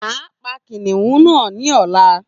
A pa kìnìún na ni ọla